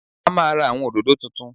A máa ra àwọn òdòdó tuntun